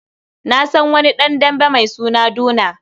Na san wani ɗan dambe mai suna Duna.